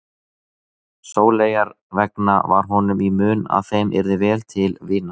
Sóleyjar vegna var honum í mun að þeim yrði vel til vina.